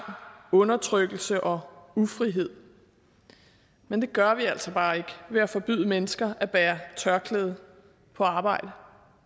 undertrykkelse og ufrihed men det gør vi altså bare ikke ved at forbyde mennesker at bære tørklæde på arbejde